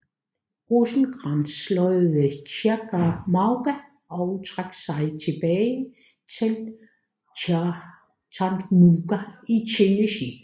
Rosecrans slået ved Chickamauga og trak sig tilbage til Chattanooga i Tennessee